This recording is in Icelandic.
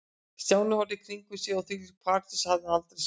Stjáni horfði í kringum sig og þvílíka paradís hafði hann aldrei séð.